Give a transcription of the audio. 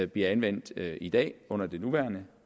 bliver anvendt i dag under det nuværende